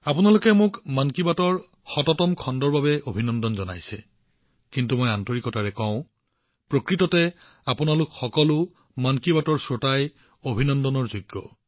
আপোনালোকে মোক মন কী বাতৰ ১০০তম খণ্ডৰ বাবে অভিনন্দন জনাইছে কিন্তু মই মোৰ হৃদয়ৰ পৰা কওঁ দৰাচলতে আপোনালোক সকলোৱে মন কী বাতৰ শ্ৰোতাসকল আমাৰ দেশবাসীসকল অভিনন্দনৰ যোগ্য